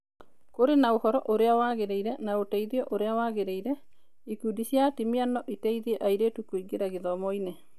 Kũrĩ na ũhoro ũrĩa wagĩrĩire na ũteithio ũrĩa wagĩrĩire, ikundi cia atumia no iteithie airĩtu kũingĩra gĩthomo-inĩ